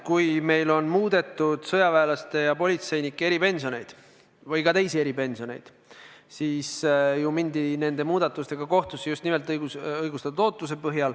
Kui meil muudeti sõjaväelaste ja politseinike eripensioneid või ka teisi eripensioneid, siis ju mindi nende muudatuste korral kohtusse just nimelt viidates õigustatud ootusele.